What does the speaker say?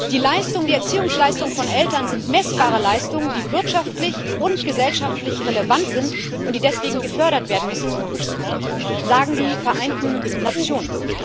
Die Erziehungsleistungen von Eltern sind messbare Leistungen, die wirtschaftlich und gesellschaftlich relevant sind und die deswegen gefördert werden müssen, sagen die Vereinten Nationen.